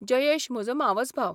जयेश म्हजो मावसभाव.